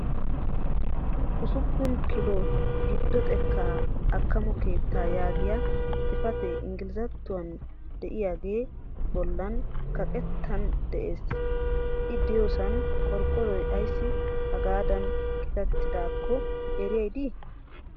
Ussuppun kilo giddo xekkaa akkamo keettaa yaagiya xifatee engilzattuwankkadiyagee bollan kaqettan des. I diyosaa qorqoroy ayissi hagaadan qitattidaakko eriyay dii?